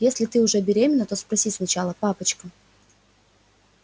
если ты уже беременна то спроси сначала папочка